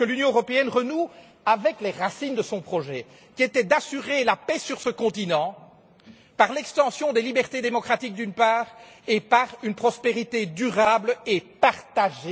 Nous voulons que l'Union européenne renoue avec les racines de son projet, qui était d'assurer la paix sur ce continent par l'extension des libertés démocratiques, d'une part, et par une prospérité durable et partagée.